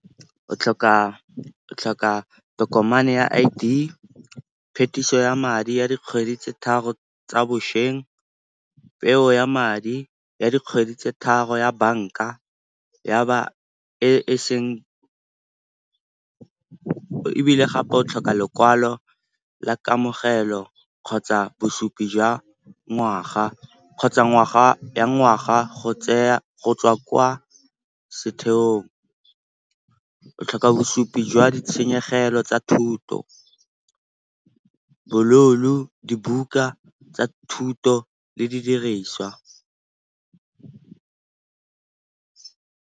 O tlhoka tokomane ya I_D, phetiso ya madi ya dikgwedi tse tharo tsa bošweng, peo ya madi ya dikgwedi tse tharo ya banka . Ebile gape o tlhoka lekwalo la kamogelo kgotsa bosupi jwa ngwaga, kgotsa ngwaga ya ngwaga go tswa kwa setheong. O tlhoka bosupi jwa ditshenyegelo tsa thuto, bo loan-o, dibuka tsa thuto le di diriswa.